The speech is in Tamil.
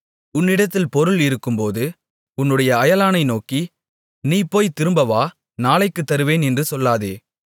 உன்னிடத்தில் பொருள் இருக்கும்போது உன்னுடைய அயலானை நோக்கி நீ போய்த் திரும்பவா நாளைக்குத் தருவேன் என்று சொல்லாதே